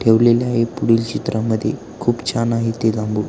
ठेवलेले आहे पुढील चित्र मध्ये खूप छान आहे ते जांभूळ.